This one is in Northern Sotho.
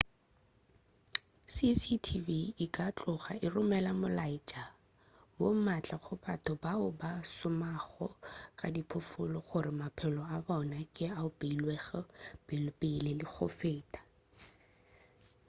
cctv e ka tloga e romela molaetša wo maatla go batho bao ba šomago ka diphoofolo gore maphelo a bona ke ao a beilwego pelepele le go feta